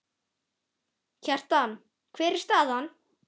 Kjartan, hver er staðan?